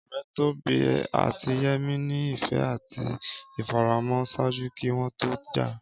Ọrẹ Tobi ati Yemi ni ifẹ ati ifaramọ ṣaaju ki wọn to ja.